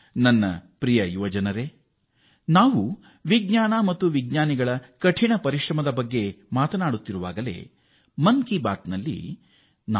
ನನ್ನ ಯುವ ಸ್ನೇಹಿತರೇ ನಾವು ವಿಜ್ಞಾನ ಮತ್ತು ವಿಜ್ಞಾನಿಗಳ ಕಠಿಣ ಪರಿಶ್ರಮದ ಬಗ್ಗೆ ಮಾತನಾಡುತ್ತಿರುವಾಗಲೀ ನಾನು ಹಲವು ಬಾರಿ ಮನ್ ಕಿ ಬಾತ್ ನಲ್ಲಿ ಹೇಳಿದ್ದೇನೆ